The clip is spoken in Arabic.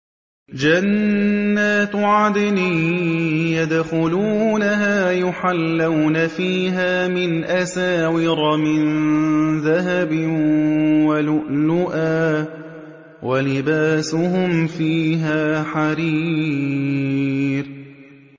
جَنَّاتُ عَدْنٍ يَدْخُلُونَهَا يُحَلَّوْنَ فِيهَا مِنْ أَسَاوِرَ مِن ذَهَبٍ وَلُؤْلُؤًا ۖ وَلِبَاسُهُمْ فِيهَا حَرِيرٌ